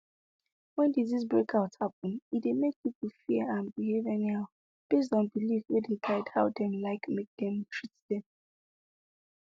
when disease breakout happen e dey make people fear and behave anyhow based on belief wey dey guide how dem like make dem treat dem